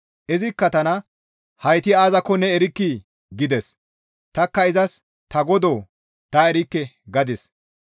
Izikka tana, «Heyti aazakko ne erkkii?» gides; tanikka izas, «Ta godoo! Ta erikke» gadis.